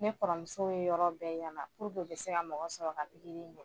Ne kɔrɔmuso ye yɔrɔ bɛɛ yaala a bɛ se ka mɔgɔ sɔrɔ ka pikiri in kɛ